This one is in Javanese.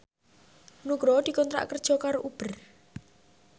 Nugroho dikontrak kerja karo Uber